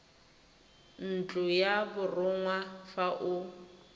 ntlo ya borongwa fa o